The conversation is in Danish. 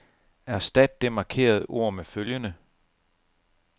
Erstat det markerede ord med følgende.